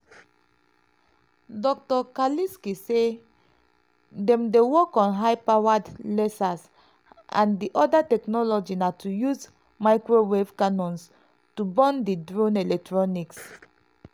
dr kalisky say "dem dey work on high powered lasers and di oda technology na to use microwave cannons to burn di drone electronics."